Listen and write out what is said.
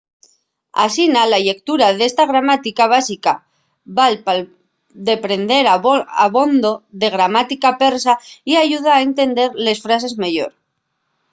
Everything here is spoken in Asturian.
asina la llectura d'esta gramática básica val pa deprender abondo de gramática persa y ayuda a entender les frases meyor